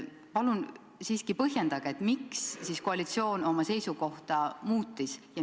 Palun põhjendage, miks siis koalitsioon oma seisukohta muutis!